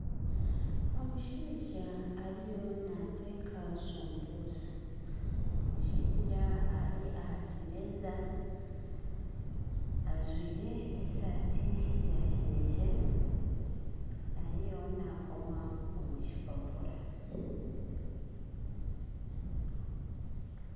Omushaija ariyo nateeka shumbusha omushaija ari aha kimeeza ajwire esaati yakineekye ariyo nakooma omu kipaapura